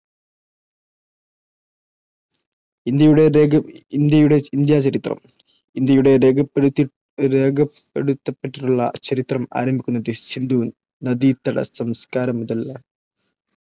India ചരിത്രം ഇന്ത്യയുടെ രേഖപ്പെടുത്തപ്പെട്ടിട്ടുള്ള ചരിത്രം ആരംഭിക്കുന്നത് സിന്ധു നദീതട സംസ്കാരം മുതലാണ്.